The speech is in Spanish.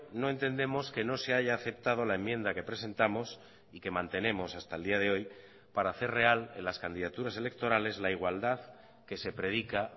no entendemos que no se haya aceptado la enmienda que presentamos y que mantenemos hasta el día de hoy para hacer real en las candidaturas electorales la igualdad que se predica